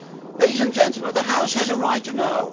Ladies and gentlemen, the House has a right to know.